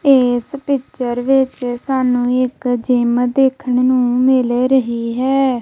ਇਸ ਪਿੱਚਰ ਵਿੱਚ ਸਾਨੂੰ ਇੱਕ ਜਿਮ ਦੇਖਣ ਨੂੰ ਮਿਲ ਰਹੀ ਹੈ।